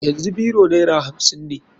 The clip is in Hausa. Yanzu biro naira hamsin ne.